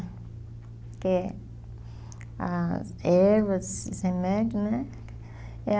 Que as ervas, os remédios, né? É a